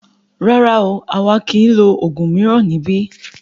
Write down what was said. Rárá o, àwa kìí lo oògùn mìíràn níbí.